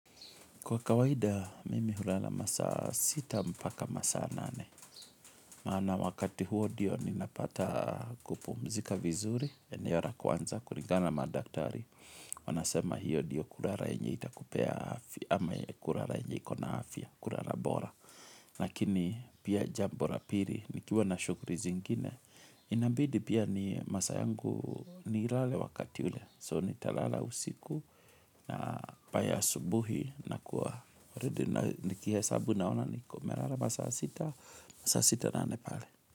Kwa kawaida, mimi hulala masaa sita mpaka masaa nane. Maana wakati huo ndio ninapata kupumzika vizuri, eneo la kwanza, kulingana na madaktari. Wanasema hiyo ndio kulala yenye itakupea afya, ama kulala enye ikona afya, kulala bora. Lakini pia jambo la pili, nikiwa na shughuli zingine. Inabidi pia ni masaa yangu nilale wakati ule. So nitalala usiku na by asubuhi nakuwa already nikihesabu naona nimelala masaa sita, saa sita nane pale.